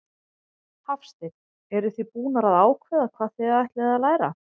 Hafsteinn: Eruð þið búnar að ákveða hvað þið ætlið að læra?